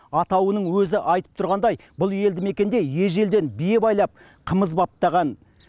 атауының өзі айтып тұрғандай бұл елді мекенде ежелден бие байлап қымыз баптаған